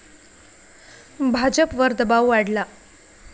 भाजपवर दबाव वाढला